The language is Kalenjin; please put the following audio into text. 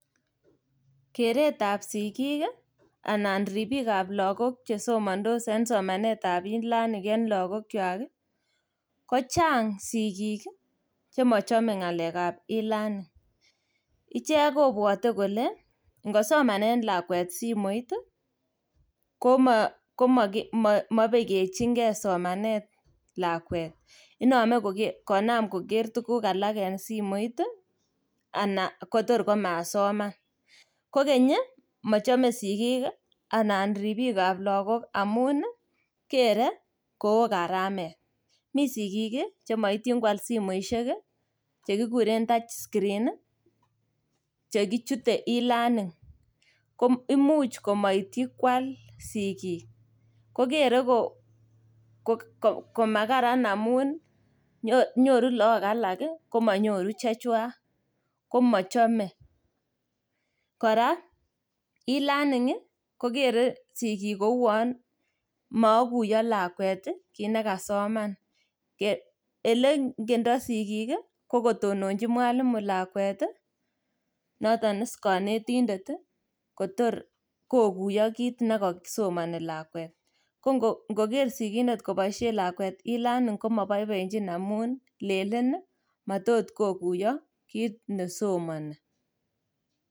Keretab sigiik anan ripiik ab lagok che somandos en somanetab elearning en lagokywak, kochang sigiik chemochome ngakek ab elearning. Ichek kobwote kole ngosomanen lakwet simoit, komabekechinge somanet kakwet. Inome koger tuguk alak en simoit ana kotor komasoman. Kogeny mochome sigiik ananripiikab lagok amun kere koo karamet. Mi sigiik chemoityin kwal simoisiek che kiguren touchscreen che kichute elearning. Ko imuch komaityi kwal sigik. Kogere komakararan amun nyoru look alak komanyoru chechwak komachome. Kora elearning kogere sigiik kouwan maaguyo lakwet kit nekasoman. Elengendo sigiik ko kotononji mwalimu lakwet notonis konetindet kotor koguyo kit nekasomani lakwet. Ko ngoger sigindet koboisien lakwet elearning ko moboiboenjin amun lenen matot ko kuiyo kit nesomani.